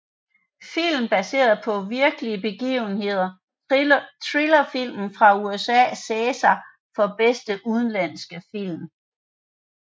Film baseret på virkelige begivenheder Thrillerfilm fra USA César for bedste udenlandske film